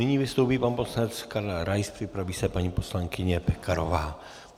Nyní vystoupí pan poslanec Karel Rais, připraví se paní poslankyně Pekarová.